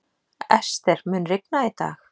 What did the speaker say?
Ester, mun rigna í dag?